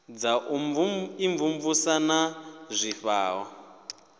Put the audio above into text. dza u imvumvusa na zwifhao